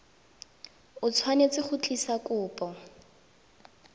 o tshwanetse go tlisa kopo